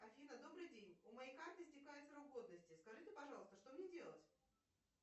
афина добрый день у моей карты истекает срок годности скажите пожалуйста что мне делать